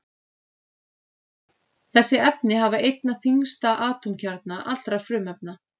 Þessi efni hafa einna þyngsta atómkjarna allra frumefna.